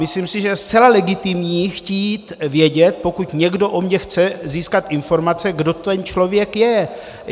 Myslím si, že je zcela legitimní chtít vědět, pokud někdo o mně chce získat informace, kdo ten člověk je.